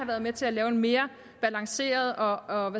været med til at lave en mere balanceret og